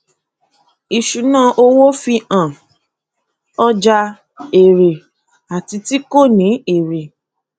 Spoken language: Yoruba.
ìṣúná owó fi hàn ọjà èrè àti ti kò ní èrè